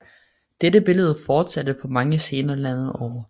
Dette billede fortsatte på mange scener landet over